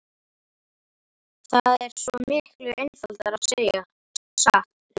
Það er svo miklu einfaldara að segja satt, hugsaði hún.